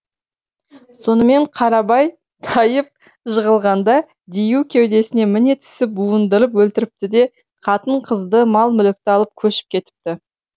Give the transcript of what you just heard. сонымен қарабай тайып жығылғанда дию кеудесіне міне түсіп буындырып өлтіріпті де қатын қызды мал мүлікті алып көшіп кетіпті